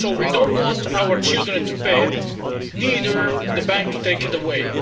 We don't want our children to pay it, nor the bank to take it away.